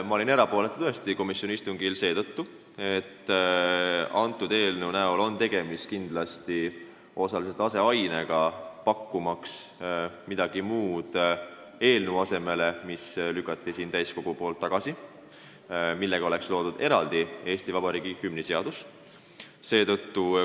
Ma olin tõesti komisjoni istungil erapooletu, seda seetõttu, et eelnõu on kindlasti osaliselt aseaine, pakkumaks midagi eelnõu asemele, mis lükati siin täiskogus tagasi ja millega oleks loodud eraldi Eesti Vabariigi hümni seadus.